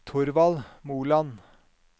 Thorvald Moland